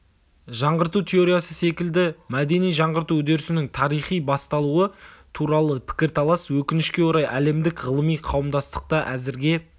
жаңғырту теориясы секілді мәдени жаңғырту үдерісінің тарихи басталуы туралы пікірталас өкінішке орай әлемдік ғылыми қауымдастықта әзірге